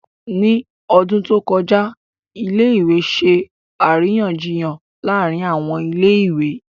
Ní ọdún tó kọjá, ilé ìwé ṣe àríyànjiyàn láàárín àwọn ilé ìwé